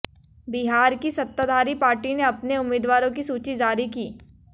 बिहार की सत्ताधारी पार्टी ने अपने उम्मीदवारों की सूची जारी की